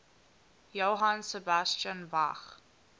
johann sebastian bach